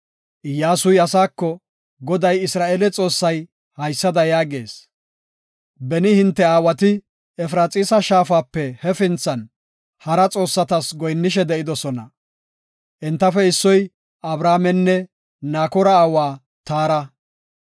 Iyyasuy asaako, “Goday Isra7eele Xoossay haysada yaagees; ‘Beni hinte aawati Efraxiisa shaafape hefinthan, hara xoossatas goyinnishe de7idosona. Entafe issoy Abrahaamenne Nakoora aawa Taara.